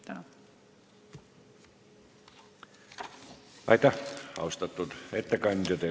Aitäh, austatud ettekandja!